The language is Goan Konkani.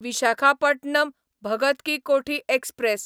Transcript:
विशाखापटणम भगत की कोठी एक्सप्रॅस